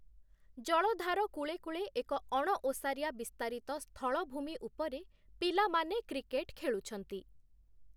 ଜଳଧାର କୂଳେ କୂଳେ ଏକ ଅଣଓସାରିଆ ବିସ୍ତାରିତ ସ୍ଥଳଭୂମି ଉପରେ ପିଲାମାନେ କ୍ରିକେଟ ଖେଳୁଛନ୍ତି ।